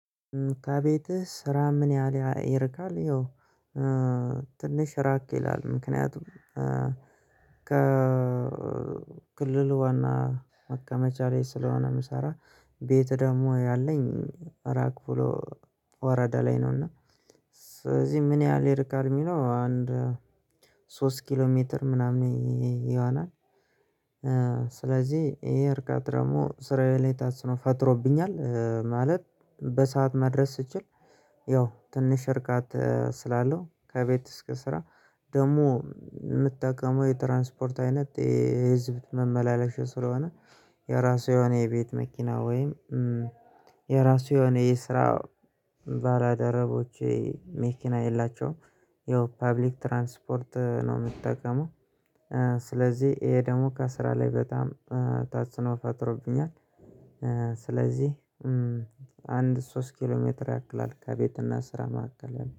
ከቤትህ ስራ ምን ያህል ይርቃል? ይኸው ትንሽ ራቅ ይላል ምክንያቱም ከክልሉ ዋና መቀመቻ ስለሆነ የምሰራ ቤት ደግሞ ያለኝ ራቅ ብሎ ወረዳ ላይ ነው። እና ስለዚህ ምን ያህል ይርቃል የሚለው አንድ ሶስት ኪሎ ሜትር ምናምን ይሆናል። ስለዚህ ይሄ እርቃት ደግሞ ስራየ ላይ ተጽኖ ፈጥሮብኛል። ማለት በሰአት መድረስ ስችል ያው ትንሽ እርቀት ስላለው ከቤት እስከ ስራ ደግሞ የምትጠቀመው የትራንስፖርት አይነት የህዝብ መመላለሻ ስለሆነ የራሱ የሆነ የቤት መኪና ወይም የራሱ የኔ ስራ ባለደረቦቼ መኪና የላቸውም የፐብሊክ ትራንስፖርት ነው። የምትጠቀመው ስለዚህ ይሄ ደግሞ ከስራ ላይ በጣም ታጽኖ ፈጥሮብኛል። ስለዚህ አንድ ሶስት ኪሎ ሜትር ያክላል ከቤትና ስራ ማከለል ያልው